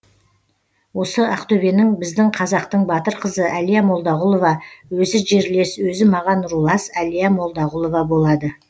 осы ақтөбенің біздің қазақтың батыр қызы әлия молдағұлова өзі жерлес өзі маған рулас әлия молдағулова болады